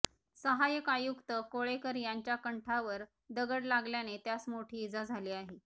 सहाय्यक आयुक्त कोळेकर यांच्या कंठावर दगड लागल्याने त्यास मोठी इजा झाली आहे